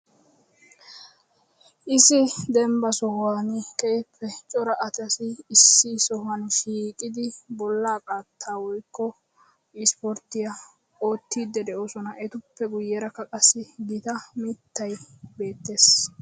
Issi dembba sohuwaan keehippe cora asati issi sohuwaan shiiqid bollaa qaata woykko ispporttiyaa oottide de'oosona; etuppe guyyakka qassi gita mittay beettees.